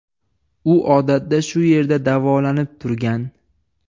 U odatda shu yerda davolanib turgan.